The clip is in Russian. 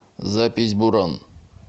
запись буран